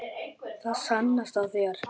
Það sannast á þér.